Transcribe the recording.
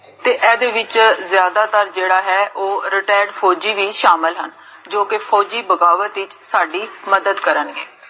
ਤੇ ਏਦੇ ਵਿਚ ਜਾਦਾਤਰ ਜੇਹੜਾ ਹੈ, ਓਹ retired ਫ਼ੋਜੀ ਵੀ ਸ਼ਾਮਲ ਹਨ, ਜੋ ਕੀ ਫ਼ੋਜੀ ਬਗ਼ਾਵਤ ਵਿਚ ਸਾਡੀ ਮਦਦ ਕਰਨਗੇ